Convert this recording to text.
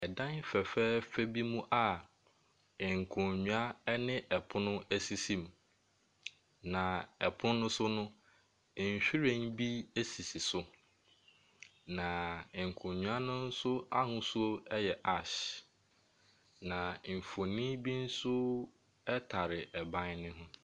Ɛdan fɛfɛɛfɛ bi mu a nkonnwa ne ɛpono esisi mu. Na ɛpono no so no, nhwiren bi esisi so. Na nkonnwa no nso ahosuo yɛ ash. Na mfoni bi nso ɛtare ban no ho.